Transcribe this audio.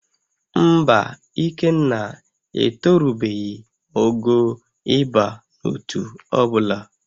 Mba, Ikenna etorubeghị ogo ịba n'ótú ọbụla